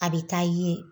A bɛ taa ye